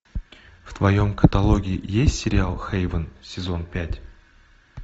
в твоем каталоге есть сериал хейвен сезон пять